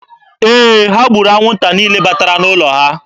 Ee, ha gburu anwụnta niile batara n'ụlọ ha.